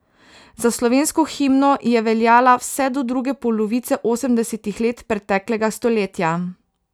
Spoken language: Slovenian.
Za slovensko himno je veljala vse do druge polovice osemdesetih let preteklega stoletja.